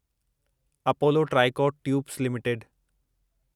Apollo tricot tubes limited